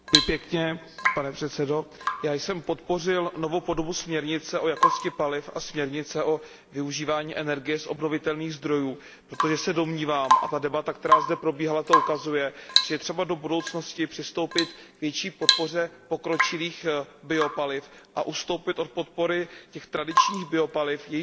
Pane předsedající, já jsem podpořil novou podobu směrnice o jakosti paliv a směrnice o využívání energie z obnovitelných zdrojů, protože se domnívám, a ta debata, která zde probíhala, to ukazuje, že je třeba do budoucnosti přistoupit k větší podpoře pokročilých biopaliv a ustoupit od podpory těch tradičních biopaliv, jejichž výroba